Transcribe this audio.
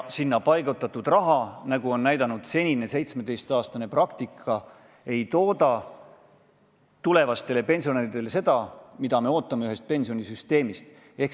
Sinna paigutatud raha, nagu on näidanud senine 17 aasta pikkune praktika, ei tooda tulevastele pensionäridele seda, mida me ootame ühelt pensionisüsteemilt.